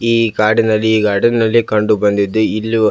ಈ ಕಾಡಿನಲ್ಲಿ ಗಾರ್ಡನ್ ನಲ್ಲಿ ಕಂಡುಬಂದಿದ್ದು ಇಲ್ಲಿ --